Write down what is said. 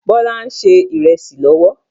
Bọlá ń ṣe ìrẹsì lọ́wọ́